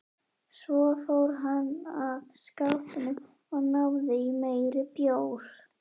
Svo fór hann að skápnum og náði í meiri bjór.